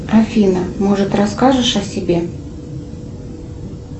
афина может расскажешь о себе